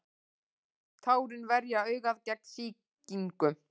tárin verja augað gegn sýkingum